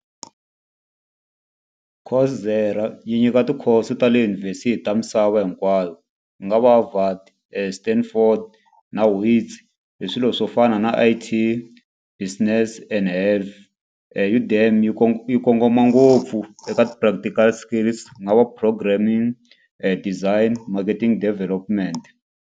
yi nyika ti-course ta le yunivhesiti ta misava hinkwayo. Ku nga va Standford na Wits. Hi swilo swo fana na I_T, business and health. yi yi komgoma ngopfu eka ti-practical skills. Ku nga va programming, design, marketing development.